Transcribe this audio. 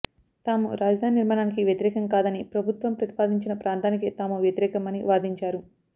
తాము రాజధాని నిర్మాణానికి వ్యతిరేకం కాదని ప్రభుత్వం ప్రతిపాదించిన ప్రాంతానికే తాము వ్యతిరేకం అని వాదించారు